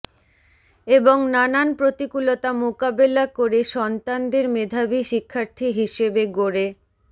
এবং নানান প্রতিকূলতা মোকবেলা করে সন্তানদের মেধাবী শিক্ষার্থী হিসেবে গড়ে